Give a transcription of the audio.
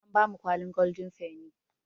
An bamu kwalin goldin feni